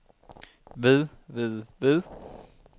ved ved ved